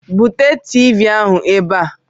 Bute Tiivii ahụ ebe a!